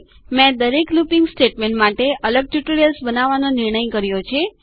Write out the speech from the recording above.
મેં દરેક looping statement માટે અલગ ટ્યુટોરિયલ્સ બનાવવાનો નિર્ણય કર્યો છે